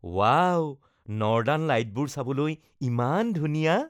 wow, northern লাইটবোৰ চাবলৈ ইমান ধুনীয়া